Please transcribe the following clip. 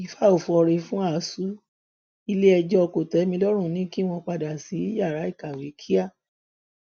ìfà ò fọre fún asuu iléẹjọ kòtẹmílọrùn ní kí wọn padà sí yàrá ìkàwé kíá